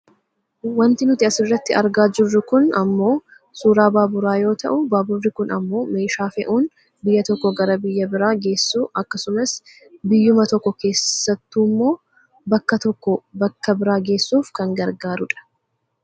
wanti nuti asirratti argaa jirru kun ammoo suuraa baaburaa yoo ta'u baaburri kun ammoo meeshaa fe'uun biyya tokkoo gara biyya biraa geessuu akkasumas biyyuma tokko keessattuummoo bakka tokkoo bakka biraa geessuuf kan gargaarudha.